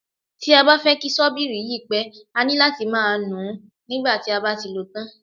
Tí a bá fẹ́ kí ṣọ́bìrì yí pẹ́, a ní láti máa nùú nígbà tí a bá ti lòó tán.